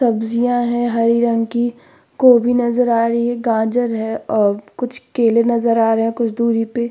सब्जियां हैं हरी रंग की। कोभी नजर आ रही है। गाजर है और कुछ केलें हैं। कुछ दूरी पे --